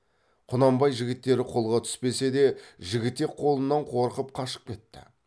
құнанбай жігіттері қолға түспесе де жігітек қолынан қорқып қашып кетті